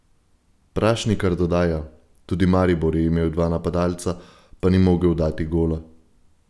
Prašnikar dodaja: "Tudi Maribor je imel dva napadalca, pa ni mogel dati gola.